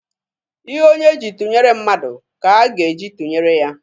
Ihe onye ji tụnyere mmadụ ka a ga-eji tụnyere ya.